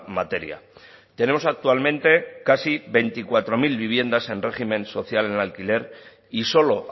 materia tenemos actualmente casi veinticuatro mil viviendas en régimen social en alquiler y solo